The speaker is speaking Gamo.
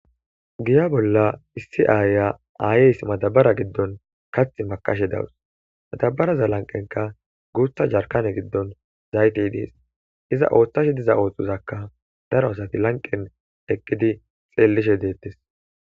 Giya bolla issi aaya aayeys matabara giddon kath makashe dawus matabaraza lanqenka guutha jarkane giddon zayti idees iza ooththash diza ooththozakka daro asati lanqen eqqidi xelishe deettes